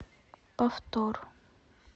повтор